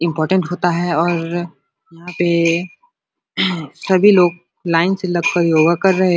important होता है और यहाँ पे सभी लोग लाइन से लग के योगा कर रहे --